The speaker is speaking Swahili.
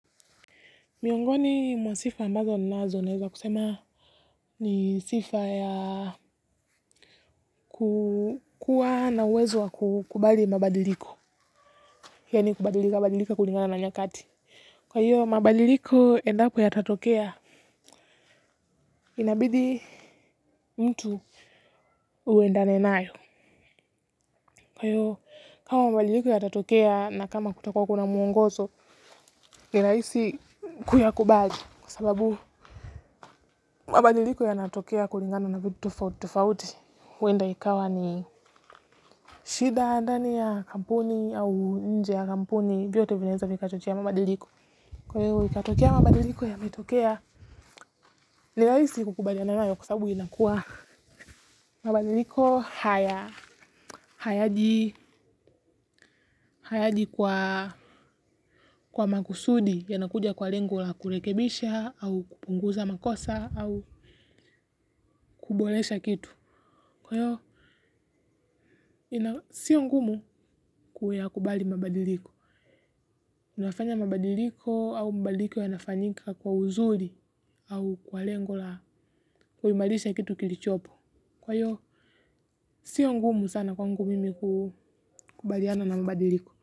Miongoni mwa sifa ambazo ninazo naweza kusema ni sifa ya kukuwa na uwezo wa kukubali mabadiliko. Yani kubadilika badilika kulingana na nyakati. Kwa hio, mabadiliko endapo yatatokea inabidi mtu uendane nayo. Kwa hio, kama mabadiliko yatatokea na kama kutakuwa kuna muongozo ni rahisi kuyakubali. Kwa sababu mabadiliko yanatokea kulingana na vitu tofauti tofauti huenda ikawa ni shida ya ndani ya kampuni au nje ya kampuni. Vyote vinaweza vikachochea mabadiliko. Kwa hio ikatokea mabadiliko yametokea ni rahisi kukubaliana nayo kwa sababu inakuwa mabadiliko hayaji kwa makusudi. Yanakuja kwa lengo la kurekebisha au kupunguza makosa au kuboresha kitu. Kwa hio sio ngumu kuyakubali mabadiliko. Unafanya mabadiliko au mabadiliko yanafanyika kwa uzuri au kwa lengo la kuimarisha kitu kilichopo. Kwa hio, sio ngumu sana kwangu mimi kukubaliana na mabadiliko.